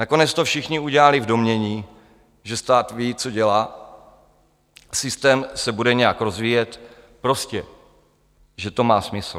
Nakonec to všichni udělali v domnění, že stát ví, co dělá, systém se bude nějak rozvíjet, prostě že to má smysl.